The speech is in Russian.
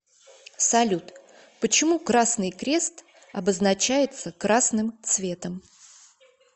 салют почему красный крест обозначается красным цветом